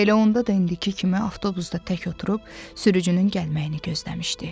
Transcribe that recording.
Elə onda da indiki kimi avtobusda tək oturub sürücünün gəlməyini gözləmişdi.